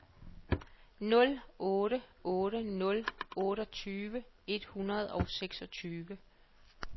nul otte otte nul otteogtyve et hundrede og seksogtyve